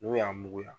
N'u y'a mugu ya